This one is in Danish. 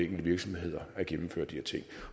virksomheder at gennemføre de